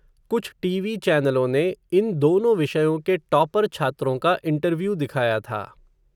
कुछ टीवी चैनलों ने, इन दोनों विषयों के टॉपर छात्रों का इंटरव्यू दिखाया था.